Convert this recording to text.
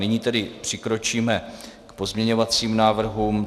Nyní tedy přikročíme k pozměňovacím návrhům.